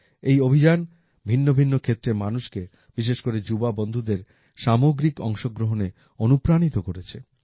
এই অভিযান ভিন্ন ভিন্ন ক্ষেত্রের মানুষকে বিশেষ করে যুবা বন্ধুদের সামগ্রিক অংশগ্রহণে অনুপ্রাণিত করেছে